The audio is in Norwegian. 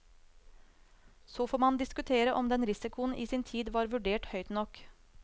Så får man diskutere om den risikoen i sin tid var vurdert høyt nok.